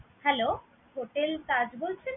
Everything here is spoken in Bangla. Hello, Hotel Taj বলছেন?